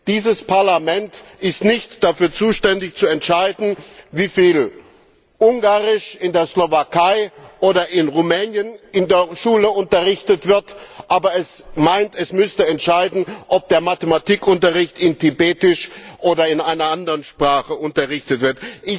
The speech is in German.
Dieses Parlament ist nicht dafür zuständig, zu entscheiden, wie viel Ungarisch in der Slowakei oder in Rumänien in der Schule unterrichtet wird, aber es meint, es müsste entscheiden, ob der Mathematikunterricht auf Tibetisch oder in einer anderen Sprache unterrichtet wird.